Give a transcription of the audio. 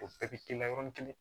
O bɛɛ bi k'i la yɔrɔnin kelen